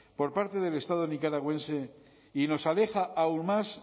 por parte del estado nicaragüense y nos aleja aún más